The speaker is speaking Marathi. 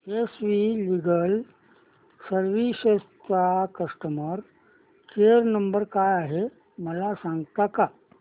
एस वी लीगल सर्विसेस चा कस्टमर केयर नंबर काय आहे मला सांगता का